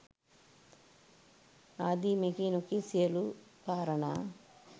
ආදී මෙකි නොකී සියලු කාරනා